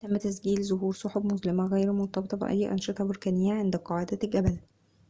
تم تسجيل ظهور سحب مظلمة غير مرتبطة بأي أنشطة بركانية عند قاعدة الجبل